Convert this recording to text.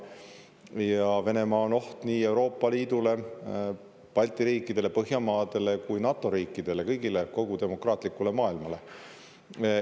Ja Venemaa on oht nii Euroopa Liidule, Balti riikidele, Põhjamaadele kui ka NATO riikidele, kõigile, kogu demokraatlikule maailmale.